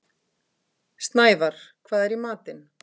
Snævarr, hvað er í matinn?